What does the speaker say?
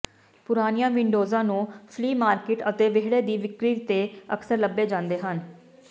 ਪੁਰਾਣੀਆਂ ਵਿੰਡੋਜ਼ਾਂ ਨੂੰ ਫਲੀ ਮਾਰਕੀਟ ਅਤੇ ਵਿਹੜੇ ਦੀ ਵਿਕਰੀ ਤੇ ਅਕਸਰ ਲੱਭੇ ਜਾਂਦੇ ਹਨ